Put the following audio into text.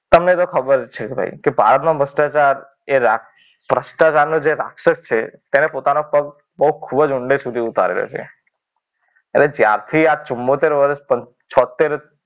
તમને તો ખબર જ છે કે ભારતમાં ભ્રષ્ટાચાર એ ભ્રષ્ટાચારનો જે રાક્ષસ છે તેને પોતાનો પગ બહુ ખૂબ જ ઊંડે સુધી ઉતારેલો છે. પણ જ્યારથી આ ચુમ્મોતર વરસ કે છોત્તેર,